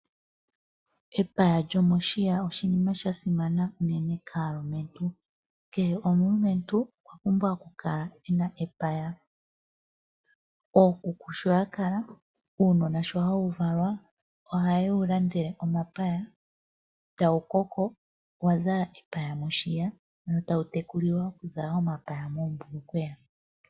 Epaya lyomoshiya oshinima shasimana uunene kaalumentu. Kehe omulumentu okwa pumbwa oku kala ena epaya. Ookuku sho ya kala, uunona sho hawu valwa, oha ye wu landele omapaya, tawu koko wa zala epaya moshiya, wo tawu tekulilwa oku zala omapaya moombulukweya.